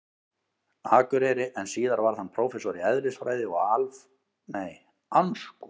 Akureyri, en síðar varð hann prófessor í eðlisfræði og aflfræði við Háskóla Íslands.